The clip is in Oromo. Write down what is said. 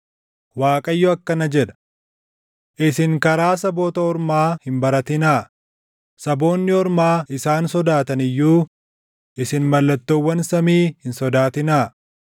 Waaqayyo akkana jedha: “Isin karaa saboota ormaa hin baratinaa; saboonni ormaa isaan sodaatan iyyuu isin mallattoowwan samii hin sodaatinaa.